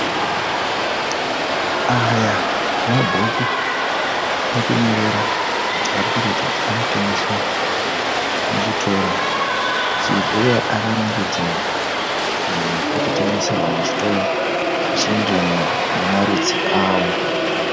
Aya mabhuku ekunyorera ari kuratidza kuti ano tengeswa muchitoro uye akarongedzewa pokutengeserwa muchitoro zvichienderana nemarudzi awo.